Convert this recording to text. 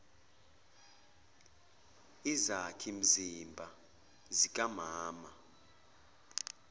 izakhi mzimba zikamama